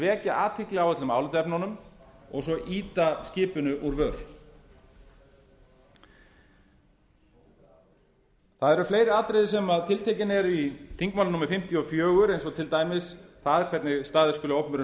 vekja athygli á öllum álitaefnunum og síðan ýta skipinu úr vör það eru fleiri atriði sem tiltekin eru í þingmáli númer fimmtíu og fjögur eins og til dæmis það hvernig staðið skuli að opinberum